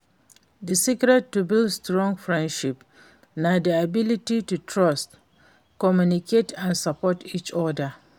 di secret to build strong friendship na di ability to trust, communicate and support each oda.